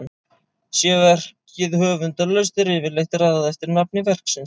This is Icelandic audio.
sé verkið höfundarlaust er yfirleitt raðað eftir nafni verksins